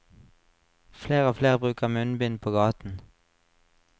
Flere og flere bruker munnbind på gaten.